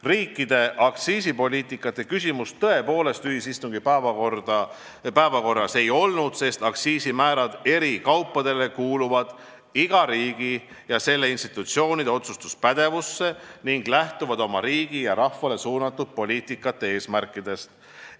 Riikide aktsiisipoliitika küsimust tõepoolest ühisistungi päevakorras ei olnud, sest eri kaupade aktsiisimäärad kuuluvad iga riigi ja selle institutsioonide otsustuspädevusse ning lähtuvad selles riigis rahvale suunatud poliitikate eesmärkidest.